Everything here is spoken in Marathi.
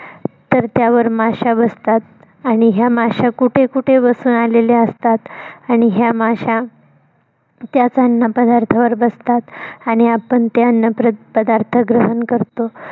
तर, त्यावर माश्या बसतात आणि ह्या माश्या कुठे कुठे बसून आलेल्या असतात? आणि ह्या माश्या त्याच अन्न पदार्थावर बसतात आणि आपण ते अन्न प्रर पदार्थ ग्रहण करतो.